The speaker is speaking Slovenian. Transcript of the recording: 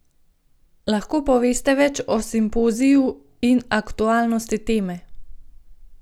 Lahko poveste več o simpoziju in aktualnosti teme?